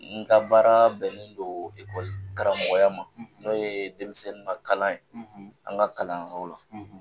N ka baara bɛnnen don karamɔgɔya ma n'o ye denmisɛnninw ka kalan ye an ka kalanyɔrɔ la.